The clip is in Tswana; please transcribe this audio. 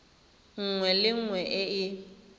nngwe le nngwe e e